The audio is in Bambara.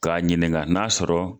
K'a ɲininka n'a sɔrɔ